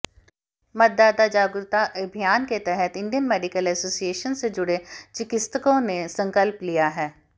मतदाता जागरूकता अभियान के तहत इंडियन मेडिकल एसोसिएशन से जुड़े चिकित्सकों ने संकल्प लिया है